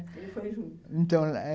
Ele foi junto. Então, é